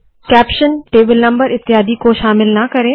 caption table number इत्यादि को शामिल ना करे